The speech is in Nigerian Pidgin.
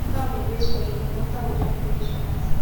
cow dey graze for evening after we don finish planting